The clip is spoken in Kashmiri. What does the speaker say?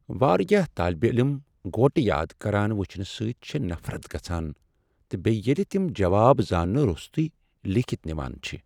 واریاہ طٲلب علم گوٹہٕ یاد کران وُچھنہ سۭتۍ چھےٚ نفرت گژھان تہٕ بیٚیہ ییٚلہ تِم جواب زاننہ روٚستٕے لیکھتھ نوان چھِ۔